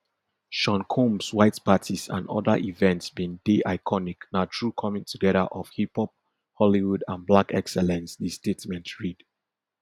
sean combs white parties and oda events bin dey iconic na true coming together of hiphop hollywood and black excellence di statement read